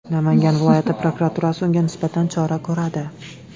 Namangan viloyati prokuraturasi unga nisbatan chora ko‘radi.